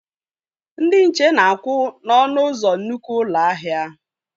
Ndị nche na-akwụ n'ọnụ ụzọ nnukwu ụlọ ahịa